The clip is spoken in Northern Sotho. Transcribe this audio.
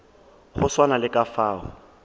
go swana le ka fao